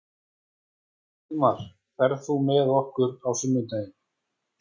Friðmar, ferð þú með okkur á sunnudaginn?